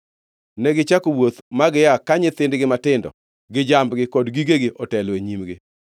Negichako wuoth ma gia ka nyithindgi matindo gi jambgi kod gigegi otelo e nyimgi.